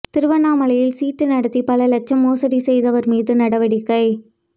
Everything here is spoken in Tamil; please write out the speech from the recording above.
திருவண்ணாமலையில் சீட்டு நடத்தி பல லட்சம் மோசடி செய்தவர் மீது நடவடிக்கை